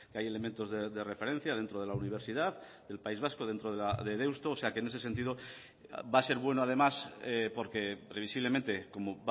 hay elementos de referencia dentro de la universidad del país vasco dentro de deusto o sea que en ese sentido va a ser bueno además porque previsiblemente como